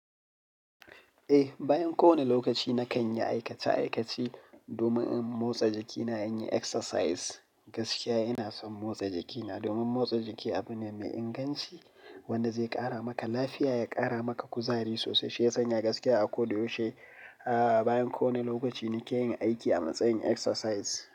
Eh, bayan kowane lokaci na kan yi aikace-aikace domin in motsa jikina, in yi exercise. Gaskiya ina son motsa jikina domin motsa jiki abu ne mai inganci wanda zai ƙara maka lafiya, ya ƙara maka kuzari sosai. Shi ya sanya gaskiya a ko da yaushe, a bayan kowane lokaci nake yin aiki a matsayin exercise.